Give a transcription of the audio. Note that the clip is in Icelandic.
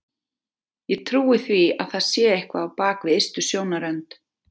Ég trúi því að það sé eitthvað á bak við ystu sjónarrönd.